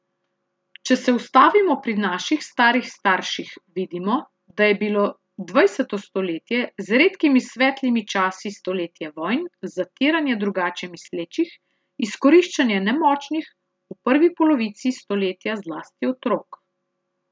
Če se ustavimo pri naših starih starših, vidimo, da je bilo dvajseto stoletje z redkimi svetlimi časi stoletje vojn, zatiranja drugače mislečih, izkoriščanja nemočnih, v prvi polovici stoletja zlasti otrok.